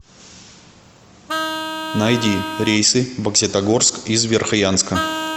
найди рейсы в бокситогорск из верхоянска